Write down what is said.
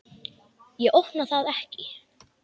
Ég opna það ekki.